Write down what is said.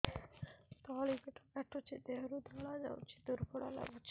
ତଳି ପେଟ କାଟୁଚି ଦେହରୁ ଧଳା ଯାଉଛି ଦୁର୍ବଳ ଲାଗୁଛି